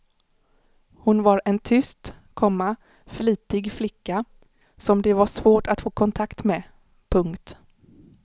Hon var en tyst, komma flitig flicka som det var svårt att få kontakt med. punkt